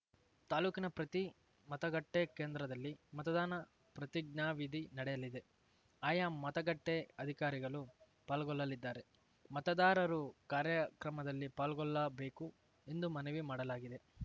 ತಾಲೂಕಿನ ಪ್ರತಿ ಮತಗಟ್ಟೆಕೇಂದ್ರದಲ್ಲಿ ಮತದಾನ ಪ್ರತಿಜ್ಞಾವಿಧಿ ನಡೆಯಲಿದೆ ಆಯಾ ಮತಗಟ್ಟೆಅಧಿಕಾರಿಗಳು ಪಾಲ್ಗೊಳ್ಳಲಿದ್ದಾರೆ ಮತದಾರರು ಕಾರ್ಯಕ್ರಮದಲ್ಲಿ ಪಾಲ್ಗೊಳ್ಳಬೇಕು ಎಂದು ಮನವಿ ಮಾಡಲಾಗಿದೆ